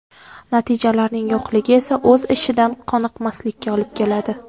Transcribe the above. Natijalarning yo‘qligi esa o‘z ishidan qoniqmaslikka olib keladi.